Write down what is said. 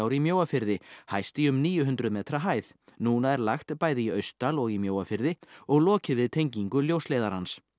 í Mjóafirði hæst í um níu hundruð metra hæð núna er lagt bæði í Austdal og í Mjóafirði og lokið við tengingu ljósleiðarans